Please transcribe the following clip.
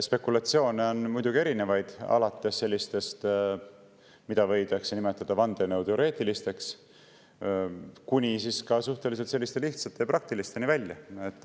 Spekulatsioone on muidugi erinevaid, alates sellistest, mida võidakse nimetada vandenõuteooriateks, kuni siis suhteliselt lihtsate ja praktilisteni välja.